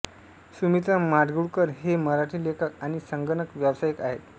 सुमित्र माडगूळकर हे मराठी लेखक आणि संगणक व्यवसायिक आहेत